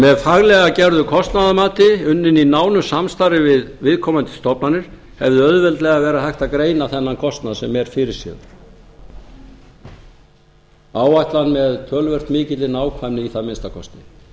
með faglega gerðu kostnaðarmati unna í nánu samstarfi við viðkomandi stofnanir hefði auðveldlega verið hægt að greina þennan kostnað sem er fyrirséður áætla hann með töluvert mikilli nákvæmni í það minnsta kosti að það